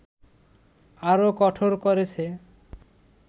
আরও কঠোর করেছে